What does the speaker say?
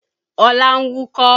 Ọlá ń wúkọ́